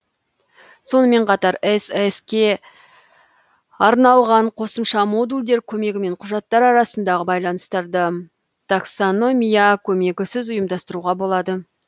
сонымен қатар сск ге арналған қосымша модульдер көмегімен құжаттар арасындағы байланыстарды таксономия көмегісіз ұйымдастыруға болады